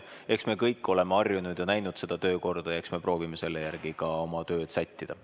Eks me kõik oleme harjunud ja näinud seda töökorda ja proovime selle järgi ka oma tööd sättida.